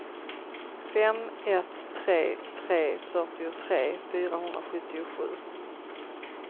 fem ett tre tre fyrtiotre fyrahundrasjuttiosju